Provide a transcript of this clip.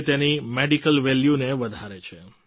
જે તેની મેડિકલ વેલ્યૂને વધારે છે